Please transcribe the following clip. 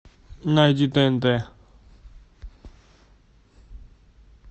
найди тнт